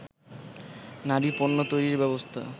নারী-পণ্য তৈরির ব্যবস্থা